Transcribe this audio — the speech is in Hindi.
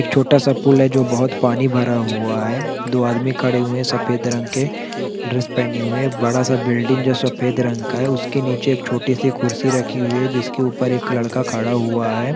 एक छोटा-सा पूल है जो बहोत पानी भरा हुआ है दो आदमी खड़े हुए है सफ़ेद रंग के ड्रेस पहने हुए बड़ा-सा बिल्डिंग जो सफ़ेद रंग का है उसके निचे एक छोटी सी कुर्सी रखी हुई है जिसके ऊपर एक लड़का खड़ा हुआ है।